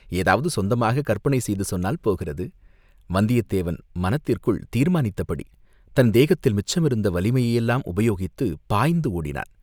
ஏதாவது சொந்தமாகக் கற்பனை செய்து சொன்னால் போகிறது, வந்தியத்தேவன் மனத்திற்குள் தீர்மானித்தபடி தன் தேகத்தில் மிச்சமிருந்த வலிமையையெல்லாம் உபயோகித்துப் பாய்ந்து ஓடினான்.